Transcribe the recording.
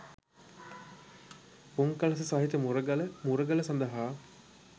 පුන්කළස සහිත මුරගල මුරගල සඳහා